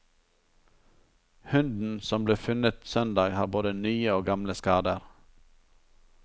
Hunden som ble funnet søndag har både nye og gamle skader.